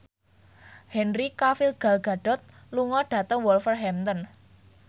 Henry Cavill Gal Gadot lunga dhateng Wolverhampton